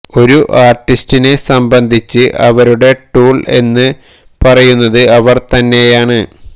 ഒരു ആർടിസ്റ്റിനെ സംബന്ധിച്ച് അവരുടെ ടൂൾ എന്ന് പറയുന്നത് അവർ തന്നെയാണ്